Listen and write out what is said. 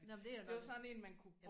Nåh men det er nok